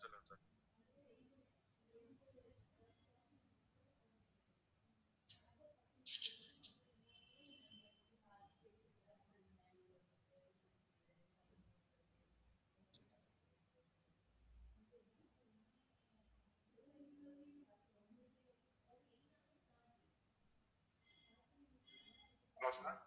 hello sir